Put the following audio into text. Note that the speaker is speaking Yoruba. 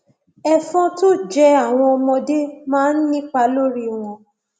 ẹfọn tó jẹ àwọn ọmọdé máa ń nípa lórí wọn